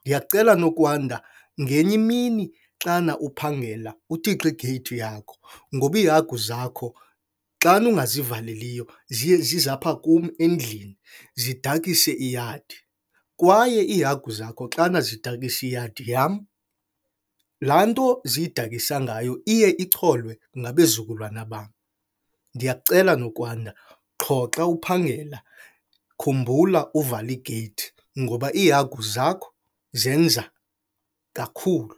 Ndiyakucela, Nokwanda, ngenye imini xana uphangela utixe igeyithi yakho ngoba iihagu zakho xana ungazivaleliyo ziye zize apha kum endlini zidakise iyadi. Kwaye iihagu zakho xana zidakisa iyadi yam, laa nto ziyidakisa ngayo iye icholwe ngabezukulwana bam. Ndiyakucela, Nokwanda, qho xa uphangela khumbula uvala igeyithi ngoba iihagu zakho zenza kakhulu.